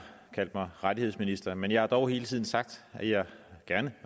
kaldt mig rettighedsminister men jeg har dog hele tiden sagt at jeg